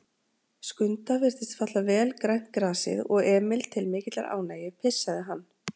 Skunda virtist falla vel grænt grasið og Emil til mikillar ánægju pissaði hann.